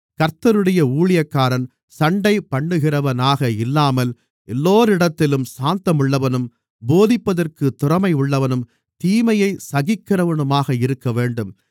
கர்த்தருடைய ஊழியக்காரன் சண்டைபண்ணுகிறவனாக இல்லாமல் எல்லோரிடத்திலும் சாந்தமுள்ளவனும் போதிப்பதற்குத் திறமையுள்ளவனும் தீமையைச் சகிக்கிறவனுமாக இருக்கவேண்டும்